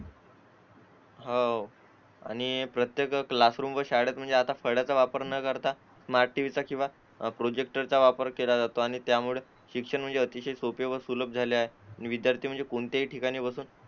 हो आणि प्रत्येक क्लास रूम व शाळेत म्हणजे आता फळांचा वापर न करता स्मार्ट TV चा किंवा प्रोजेक्टर चा वापर केला जातो आणि त्यामुळे शिक्षण म्हणजे अतिशय सोपे व सुलभ झाले आहे विद्यार्थी म्हणजे कोणत्याही ठिकाणी बसून